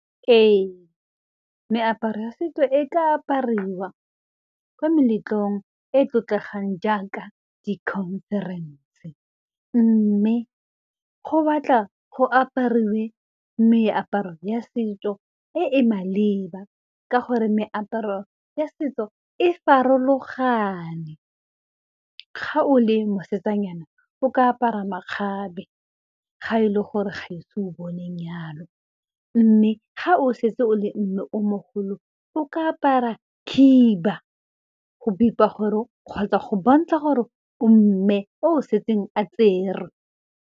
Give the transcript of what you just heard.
Ee meaparo ya setso e ka apariwa kwa meletlong e e tlotlegang jaaka di-conference mme go batla go apariwe meaparo ya setso e e maleba ka gore meaparo ya setso e farologane, ga o le mosetsanyana o ka apara makgabe ga e le gore ga e se o bone nyalo mme ga o setse o le mme o mogolo o ka apara khiba go bipa gore kgotsa go bontsha gore o mme o setseng a tserwe.